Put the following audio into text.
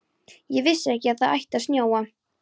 Ég vissi ekki að það ætti að snjóa.